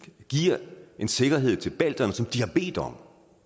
vi giver en sikkerhed til balterne som de har bedt om